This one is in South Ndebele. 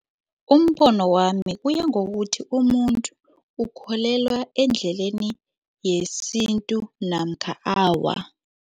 Umbono wami uyangokuthi umuntu ukholelwa endleleni yesintu namkha awa.